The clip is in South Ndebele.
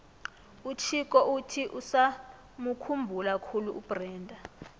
uchicco uthi usamukhumbula khulu ubrenda